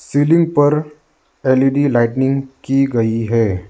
Ceiling पर L E D lighting की गई है।